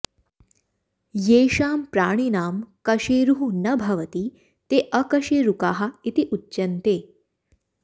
येषां प्राणिनां कशेरुः न भवति ते अकशेरुकाः इति उच्यन्ते